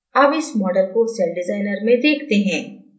अब इस model को सेलडिज़ाइनर में देखते हैं